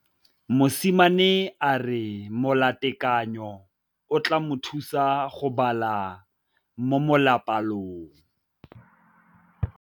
Mosimane a re molatekanyô o tla mo thusa go bala mo molapalong.